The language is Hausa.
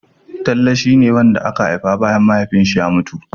Talle shia ne wanda aka haifa bayan Mahaifinsa ya mutu.